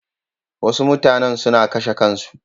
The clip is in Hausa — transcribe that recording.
Wasu mutanen suna kashe kansu.